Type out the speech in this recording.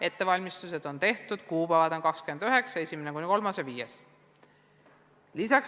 Ettevalmistused on juba tehtud ning kuupäevad on 29. mai ja 1.–3. ja 5. juuni.